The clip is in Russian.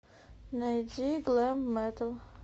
найди глэм метал